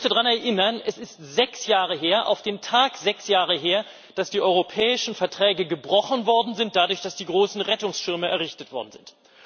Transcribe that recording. Ich möchte daran erinnern, es ist auf den Tag sechs Jahre her, dass die europäischen Verträge gebrochen worden sind dadurch, dass die großen Rettungsschirme errichtet worden sind.